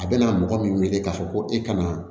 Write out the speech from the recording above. A bɛna mɔgɔ min wele k'a fɔ ko e ka na